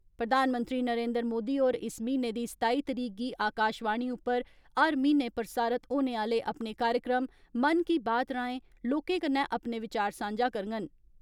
प्रधानमंत्री नरेन्द्र मोदी होर इस म्हीने दी सताई तरीक गी आकाशवाणी उप्पर हर म्हीने प्रसारित होने आहले अपने कार्यक्रम ' मन की बात ' राहें लोकें कन्नै अपने विचार सांझा करडन।